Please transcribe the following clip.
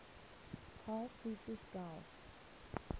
carl friedrich gauss